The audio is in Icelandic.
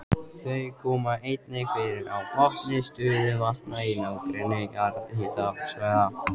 Þau koma einnig fyrir á botni stöðuvatna í nágrenni jarðhitasvæða.